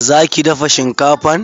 Za ki dafa shinkafan?